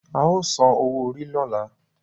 ao san owó Orí lola.